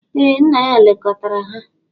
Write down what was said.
Ee, nna ya lekọtara ha.